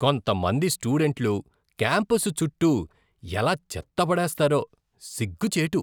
కొంతమంది స్టూడెంట్లు క్యాంపస్ చుట్టూ ఎలా చెత్త పడేస్తారో, సిగ్గుచేటు.